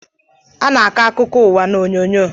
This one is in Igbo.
A na-akọ akụkọụwa n'onyonyo